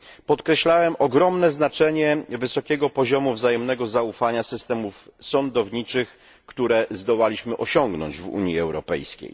podkreślałem ogromne znaczenie wysokiego poziomu wzajemnego zaufania systemów sądowniczych, które zdołaliśmy osiągnąć w Unii Europejskiej.